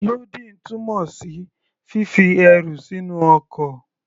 Lódìn túmọ̀ sí fífi ẹrù sínú ọkọ̀.